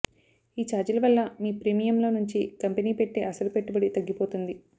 ఈ చార్జీల వల్ల మీ ప్రీమియం లో నుంచి కంపెనీ పెట్టే అసలు పెట్టుబడి తగ్గిపోతుంది